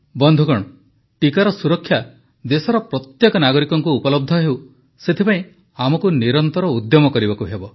ବନ୍ଧୁଗଣ ଟିକାର ସୁରକ୍ଷା ଦେଶର ପ୍ରତ୍ୟେକ ନାଗରିକଙ୍କୁ ଉପଲବ୍ଧ ହେଉ ସେଥିପାଇଁ ଆମକୁ ନିରନ୍ତର ଉଦ୍ୟମ କରିବାକୁ ହେବ